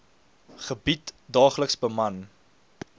gebied daagliks beman